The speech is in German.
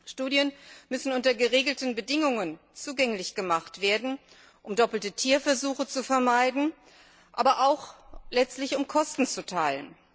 Studien müssen unter geregelten Bedingungen zugänglich gemacht werden, um doppelte Tierversuche zu vermeiden, aber letztlich auch, um Kosten zu teilen.